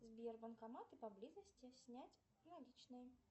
сбер банкоматы поблизости снять наличные